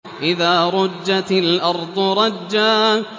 إِذَا رُجَّتِ الْأَرْضُ رَجًّا